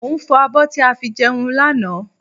Mo ń fọ abọ́ tí a fi jẹun lánàá